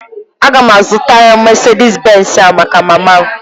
Aga m azụtara Mesedis Benz a maka mama m